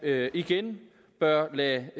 igen bør lade